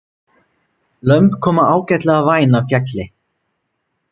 Lömb koma ágætlega væn af fjalli